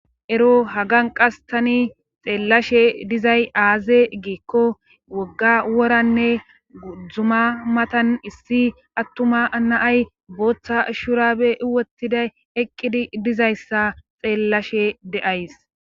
Ero hagan qas tani xeellashe dizay aaze giikko wogga woranne guddzuma matan issi attuma anaay booththa shurabe iwotiday eqqidi dizayssa xeellashe deays.